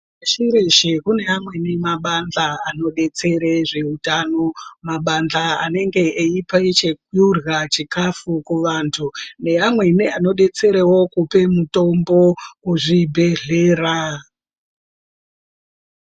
Pashi reshe kune amweni mabandla anodetsere zveutano. Mabandhla anenge eipe chekurya chikafu kuvantu neamweni anodetsera kupa mutombo kuzvibhedhlera.